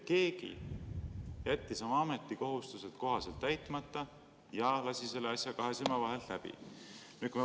Keegi jättis oma ametikohustused kohaselt täitmata ja jättis selle asja kahe silma vahele.